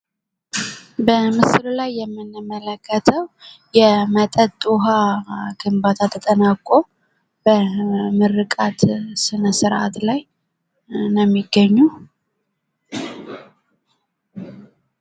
በምስሉ ላይ የምንመለከተው የ መጠጥ ውሀ ግንባታ ተጠናቆ በምርቃት ስነስርአት ላይ ነው የሚገኘው።